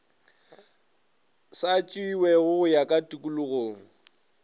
sa tšewego go ya tokologong